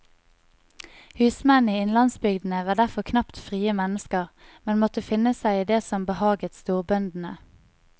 Husmennene i innlandsbygdene var derfor knapt frie mennesker, men måtte finne seg i det som behaget storbøndene.